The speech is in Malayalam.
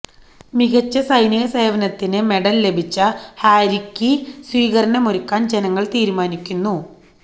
മികച്ച സൈനികസേവനത്തിന് മെഡൽ ലഭിച്ച ഹാരിക്ക് സ്വീകരണമൊരുക്കാൻ ജനങ്ങൾ തീരുമാനിക്കുന്നു